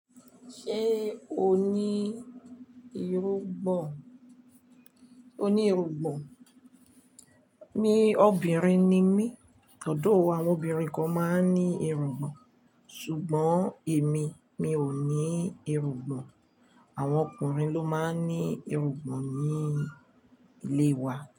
Ṣé o ní irugbọn? O ní irugbọn. Mi obìnrin ni mí, although àwọn obìnrin kan máa ń ní irugbọn. Ṣùgbọ́n èmi, mi ò ní irugbọn. Àwọn ọkùnrin ló máa ń ní irugbọn ní ilé wa.